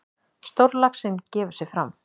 Stórlaxinn gefur sig fram.